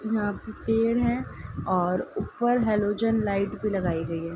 यहां पे पेड़ है और ऊपर हैलोजेन लाइट भी लगाई गयी है।